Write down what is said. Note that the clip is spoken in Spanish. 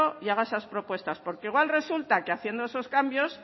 y haga esas propuestas porque igual resulta que haciendo esos cambios